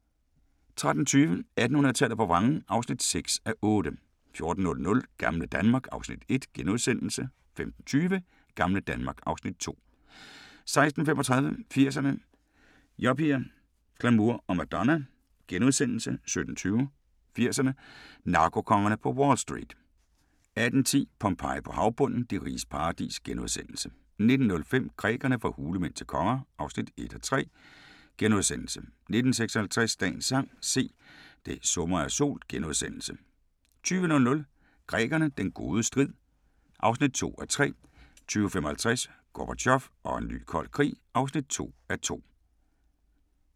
13:20: 1800-tallet på vrangen (6:8) 14:00: Gamle Danmark (Afs. 1)* 15:20: Gamle Danmark (Afs. 2) 16:35: 80'erne: Yuppier, glamour og Madonna * 17:20: 80'erne: Narkokongerne på Wall Street 18:10: Pompeji på havbunden – De riges paradis * 19:05: Grækerne – fra hulemænd til konger (1:3)* 19:56: Dagens sang: Se, det summer af sol * 20:00: Grækerne – den gode strid (2:3) 20:55: Gorbatjov og en ny kold krig (2:2)